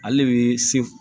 Ale de bɛ se